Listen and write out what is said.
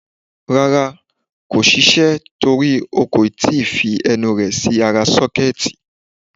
Rárá, kò ṣiṣẹ́ torí o kò tí ì fi ẹnu rẹ̀ sí ara sọ́kẹ́ẹ̀tì.